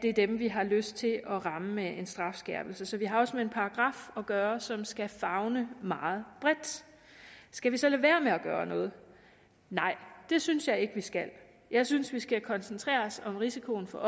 er dem vi har lyst til at ramme med en strafskærpelse så vi har også med en paragraf at gøre som skal favne meget bredt skal vi så lade være med at gøre noget nej det synes jeg ikke vi skal jeg synes vi skal koncentrere os om risikoen for at